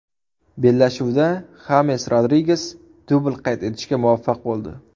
Bellashuvda Xames Rodriges dubl qayd etishga muvaffaq bo‘ldi.